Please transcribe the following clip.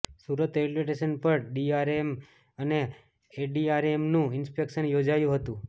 Surat railway station પર DRM અને એડીઆરએમનું ઇન્સ્પેક્શન યોજાયું હતું